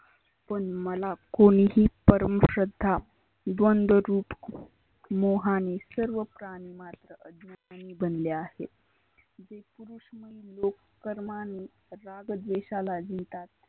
पण मला कोणिही परम श्रद्धा द्वदंरुप मोहाने सर्व प्राणिमात्रा बनले आहेत. लोक करमाने राग द्वेशाला नेतात.